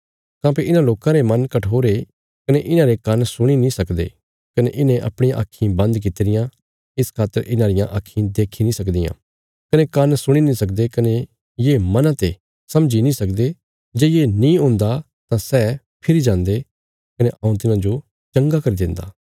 काँह्भई इन्हां लोकां रा मन कठोर ये कने इन्हांरे कान्न सुणी नीं सकदे कने इन्हें अपणियां आक्खीं बन्द कित्ती रियां इस खातर इन्हां रियां आक्खीं देखी नीं सकदियां कने कान्न सुणी नीं सकदे कने ये मना ते समझी नीं सकदे जे ये नीं हुन्दा तां सै फिरी जान्दे कने हऊँ तिन्हांजो चंगा करी देन्दा